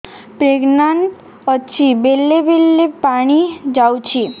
pregnant ଅଛି ବେଳେ ବେଳେ ପାଣି ଯାଉଛି